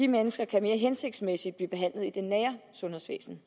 mennesker kan mere hensigtsmæssigt blive behandlet i det nære sundhedsvæsen